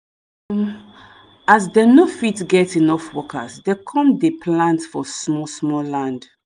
um as them no fit get enough workers dem come dey plant for small small land